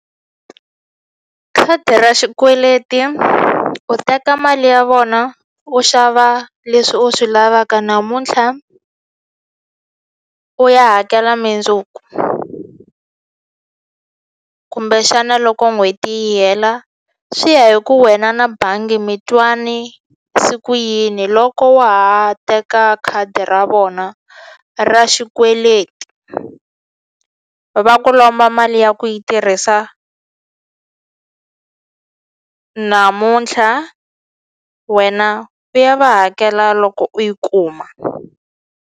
Khadi ra xikweleti u teka mali ya vona u xava leswi u swi lavaka namuntlha u ya hakela mindzuku kumbexana loko n'hweti yi hela swi ya hi ku wena na bangi mi twani se ku yini loko wa ha teka khadi ra vona ra xikweleti va ku lomba mali ya ku yi tirhisa namuntlha wena u ya va hakela loko u yi kuma.